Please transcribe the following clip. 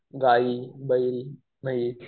गाई, बैल, म्हैस